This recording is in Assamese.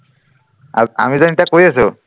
আ আমি যেন এতিয়া কৰি আছো